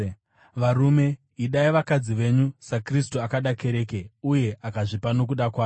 Varume, idai vakadzi venyu, saKristu akada kereke uye akazvipa nokuda kwayo